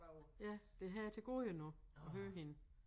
Ja det har jeg til gode endnu at høre hende